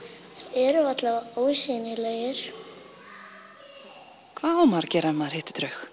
eru ósýnilegir hvað á maður að gera ef maður hittir draug